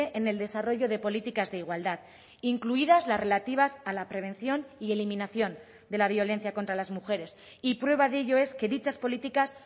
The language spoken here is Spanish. en el desarrollo de políticas de igualdad incluidas las relativas a la prevención y eliminación de la violencia contra las mujeres y prueba de ello es que dichas políticas